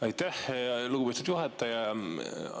Aitäh, lugupeetud juhataja!